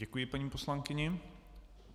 Děkuji paní poslankyni.